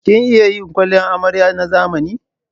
Kin iya yin kwalliyar amarya na zamani?